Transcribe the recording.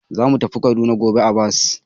Za mu tafi Kaduna gobe a bas.